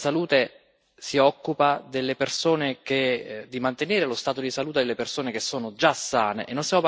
La salute si occupa delle persone, di mantenere lo stato di salute delle persone che sono già sane.